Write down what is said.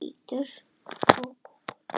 Skuldir fyrnist á tveimur árum